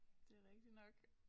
Det rigtig nok